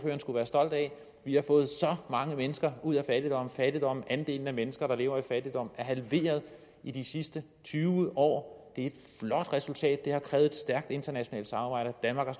skulle være stolt af at vi har fået så mange mennesker ud af fattigdom fattigdom andelen af mennesker der lever i fattigdom er halveret i de sidste tyve år det er et flot resultat der har krævet et stærkt internationalt samarbejde danmark